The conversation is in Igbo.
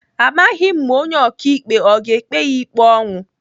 Amaghị m ma onye ọkaikpe ọ ga-ekpe ya ikpe ọnwụ.